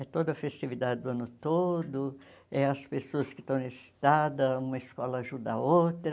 É toda a festividade do ano todo, é as pessoas que estão necessitadas, uma escola ajuda a outra.